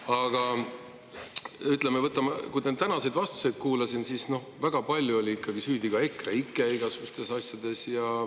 Aga ütleme, tänaseid vastuseid kuulates väga palju oli igasugustes asjades süüdi ikkagi EKREIKE.